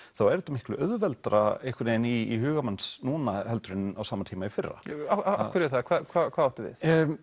er þetta miklu auðveldara einhvern vegin í huga manns núna heldur en á sama tíma í fyrra af hverju er það eða hvað áttu við